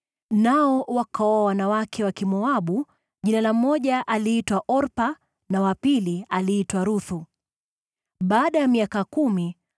Nao wakaoa wanawake Wamoabu, jina la mmoja aliitwa Orpa, na wa pili aliitwa Ruthu. Baada ya kama miaka kumi,